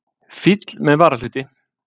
Fíll með varahluti!